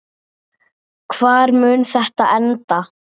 Hvar mun þetta enda?